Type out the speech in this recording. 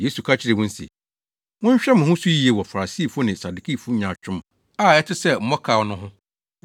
Yesu ka kyerɛɛ wɔn se, “Monhwɛ mo ho so yiye wɔ Farisifo ne Sadukifo nyaatwom a ɛte sɛ mmɔkaw no ho.”